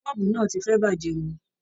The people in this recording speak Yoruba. Bọ́ọ̀bù náà ti fẹ́ bàjẹ́ ni.